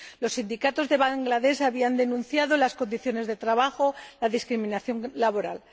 Los sindicatos de Bangladesh habían denunciado las condiciones de trabajo y la discriminación laboral.